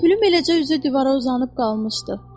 Pülüm eləcə üzü divara uzanıb qalmışdı.